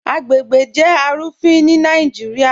Agbègbè jẹ́ arúfìn ni Naijíríà.